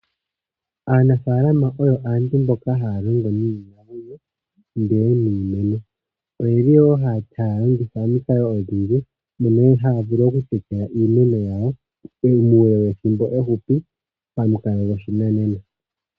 Aanafaalama oyo aantu mboka haya longo niinamwenyo ndele niimeno. Oye li woo haya longitha omikalo dhi ili mono woo haya vulu oku hupitha iimeno yawo muule wethimbo efupi pamukalo goshinanena.